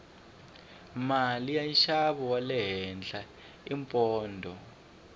mali ya nxavo wale henhla i pondho